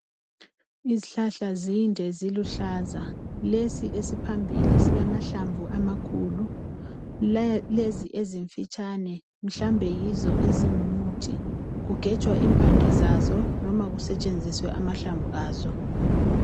Izihlahla zinde ziluhlaza lesi esiphambili silamahlamvu amakhulu lezi ezimfitshane mhlawumbe yizo ezingumuthi kugenjwa imbande zazo noma kusentshe nziswe amahlamvu azo